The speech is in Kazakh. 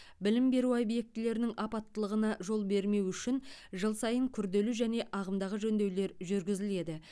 білім беру объектілерінің апаттылығына жол бермеу үшін жыл сайын күрделі және ағымдағы жөндеулер жүргізіледі